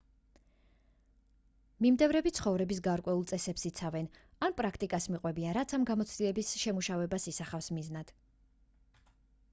მიმდევრები ცხოვრების გარკვეულ წესებს იცავენ ან პრაქტიკას მიჰყვებიან რაც ამ გამოცდილების შემუშავებას ისახავს მიზნად